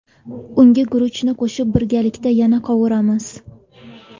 Unga guruchni qo‘shib, birgalikda yana qovuramiz.